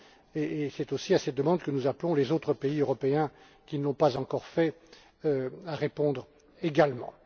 C'est d'ailleurs à cette demande que nous appelons les autres pays européens, qui ne l'ont pas encore fait, à répondre également.